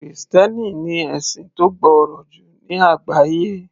Krìstẹ́nì ni ẹ̀sìn tó gbòòrò jù ní àgbáyé